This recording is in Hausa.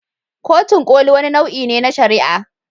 Kotun Koli wani nau'i ne na shari'a.